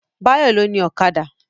Báyọ̀ ló ni Ọ̀kadà